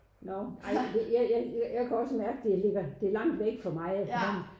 Nåh ej jeg jeg jeg jeg jeg kan også mærke det ligger det langt væk fra mig